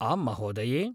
आम्महोदये!